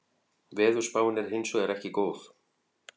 Veðurspáin er hins vegar ekki góð